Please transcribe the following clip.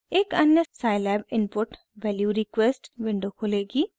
एक अन्य scilab input value request window खुलेगी